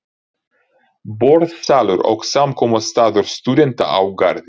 Borðsalur og samkomustaður stúdenta á Garði.